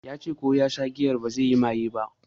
Ya ce ko ya sha giyar bazai yi maye ba